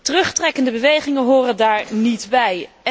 Terugtrekkende bewegingen horen daar niet bij.